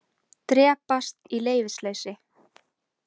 Drepast í leyfisleysi.